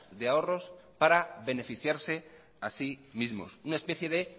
de ahorros para beneficiarse a sí mismo una especie de